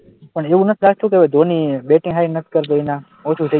પણ એવું નથી લાગતું કે હવે ધોની બેટિંગ સારી નથી કરતું એનાં ઓછું થઈ ગયું.